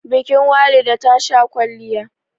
bikin Walida tasha kwalliya